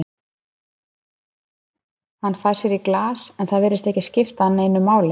Hann fær sér í glas, en það virðist ekki skipta hann neinu máli.